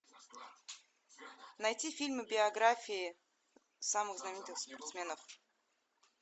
найти фильмы биографии самых знаменитых спортсменов